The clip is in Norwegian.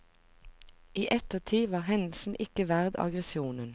I ettertid var hendelsen ikke verdt aggresjonen.